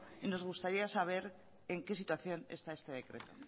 y nos gustaría saber en que situación está este decreto